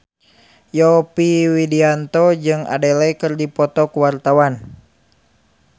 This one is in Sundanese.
Yovie Widianto jeung Adele keur dipoto ku wartawan